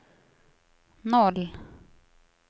noll